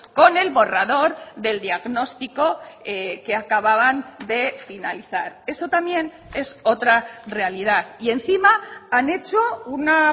con el borrador del diagnóstico que acababan de finalizar eso también es otra realidad y encima han hecho una